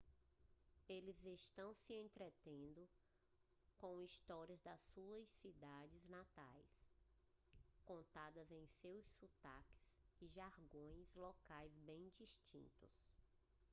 eles estão se entretendo com histórias das suas cidades natais contadas em seus sotaques e jargões locais bem distintos